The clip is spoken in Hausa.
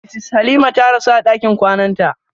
Mrs Halima ta rasu a ɗakin kwananta.